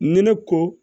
Ne ne ko